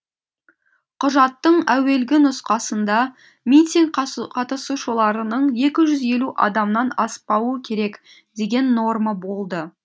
құжаттың әуелгі нұсқасында митинг қатысушыларының екі жүз елу адамнан аспауы керек деген норма болды